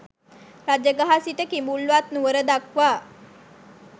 රජගහ සිට කිඹුල්වත් නුවර දක්වා